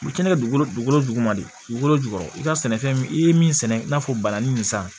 U bɛ kɛnɛ kɛ dugukolo duguma de dugukolo jukɔrɔ i ka sɛnɛfɛn i ye min sɛnɛ i n'a fɔ bananin nin san